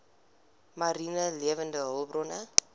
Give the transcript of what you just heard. mariene lewende hulpbronne